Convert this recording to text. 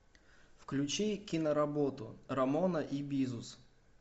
включи киноработу рамона и бизус